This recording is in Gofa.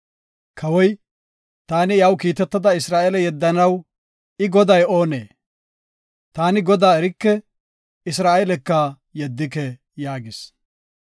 Kawoy, “Taani iyaw kiitetada Isra7eele yeddanaw I, Goday oonee? Taani Godaa erike; Isra7eelaka yeddike” yaagis.